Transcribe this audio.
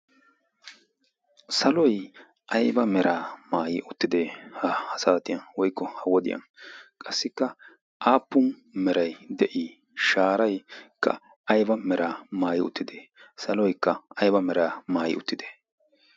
Saloy aybba mera maaayyi uttide ha saatiyaan woykko ha wodiyaan? qassikka aappun de'i? sharaykka aybba mera maayyi uttide? saloykk aybba mera maayi uttide?